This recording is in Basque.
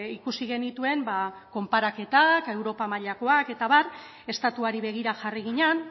ikusi genituen ba konparaketak europa mailakoak eta abar estatuari begira jarri ginen